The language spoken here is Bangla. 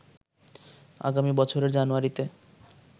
আগামী বছরের জানুয়ারিতে